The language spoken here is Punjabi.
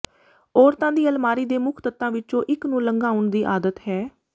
ਔਰਤਾਂ ਦੀ ਅਲਮਾਰੀ ਦੇ ਮੁੱਖ ਤੱਤਾਂ ਵਿੱਚੋਂ ਇੱਕ ਨੂੰ ਲੰਘਾਉਣ ਦੀ ਆਦਤ ਹੈ